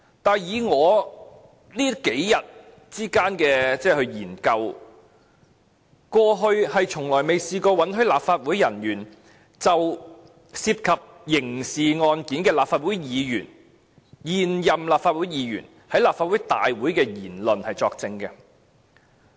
可是，根據我這數天的研究所得，過去是從未試過允許立法會人員，就涉及刑事案件的現任立法會議員在立法會大會所作出的言論作證。